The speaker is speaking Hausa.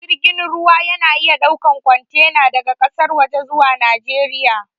Jirgin ruwa ya na iya ɗaukan kwantena daga ƙasar waje zuwa najeriya